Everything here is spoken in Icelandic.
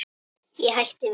Ég hætti við.